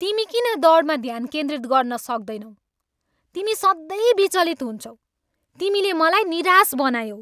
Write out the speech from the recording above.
तिमी किन दौडमा ध्यान केन्द्रित गर्न सक्दैनौ? तिमी सधैँ विचलित हुन्छौ। तिमीले मलाई निराश बनायौ।